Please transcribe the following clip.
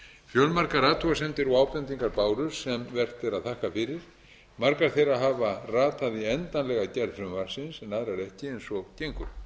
fjölmargar athugasemdir og ábendingar bárust sem vert er að þakka fyrir margar þeirra hafa ratað í endanlega gerð frumvarpsins en aðrar ekki eins og gengur